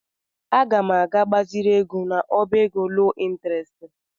Aga m aga gbaziri ego n'ọbá ego loo ịntrest.